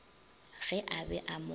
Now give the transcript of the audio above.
ge a be a mo